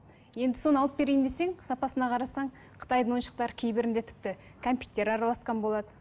енді соны алып берейін десең сапасына қарасаң қытайдың ойыншықтары кейбірінде тіпті кәмпиттер араласқан болады